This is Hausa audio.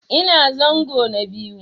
Ina zango na biyu.